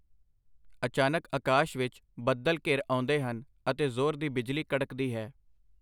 ਅਚਾਨਕ ਅਕਾਸ਼ ਵਿਚ ਬੱਦਲ ਘਿਰ ਆਉਂਦੇ ਹਨ ਅਤੇ ਜ਼ੋਰ ਦੀ ਬਿਜਲੀ ਕੜਕਦੀ ਹੈ.